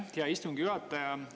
Aitäh, hea istungi juhataja!